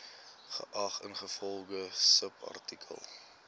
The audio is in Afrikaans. geag ingevolge subartikel